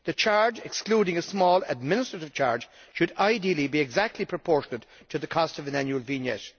The charge excluding a small administrative charge should ideally be exactly proportionate to the cost of an annual vignette.